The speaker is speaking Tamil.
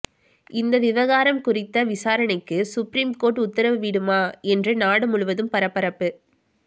இந்த விவகாரம் குறித்த விசாரணைக்கு சுப்ரீம் கோர்ட் உத்தரவிடுமா என்று நாடு முழுவதும் பரபரப்பு